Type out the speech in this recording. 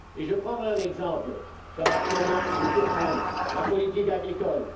Je prendrai un exemple qui va sûrement vous surprendre la politique agricole.